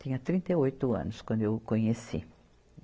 Tinha trinta e oito anos quando eu o conheci.